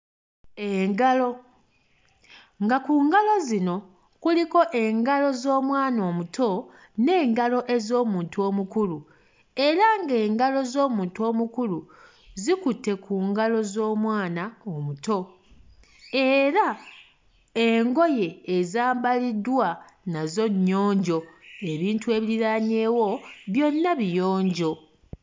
Engalo nga ku ngalo zino kuliko engalo z'omwana omuto n'engalo ez'omuntu omukulu era ng'engalo z'omuntu omukulu zikutte ku ngalo z'omwana omuto era engoye ezambaliddwa nazo nnyonjo ebintu ebiriraanyeewo byonna biyonjo.